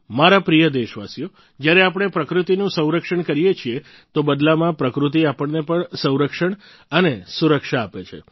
મારા પ્રિય દેશવાસીઓ જ્યારે આપણે પ્રકૃતિનું સંરક્ષણ કરીએ છીએ તો બદલામાં પ્રકૃતિ આપણને પણ સંરક્ષણ અને સુરક્ષા આપે છે